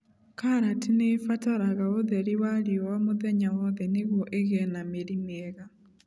Karati nĩ ibataraga ũtheri wa riũa mũthenya wothe nĩguo ĩgĩe na mĩri mĩega.